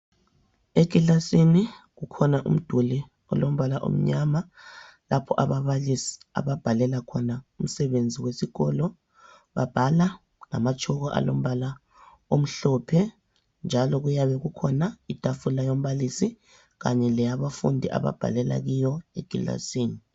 Ekilasini kukhona umduli olombala omnyama lapho ababalisi ababhalela khona umsebenzi wesikolo. Babhala ngamatshoko alombala omhlophe, njalo kuyabe kukhona itafula yombalisi kanye leyabafundi ababhalela kiyo ekilasini.